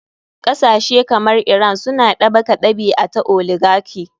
Kasashe kamar iran suna ɗabaka ɗabi a ta oligarchy.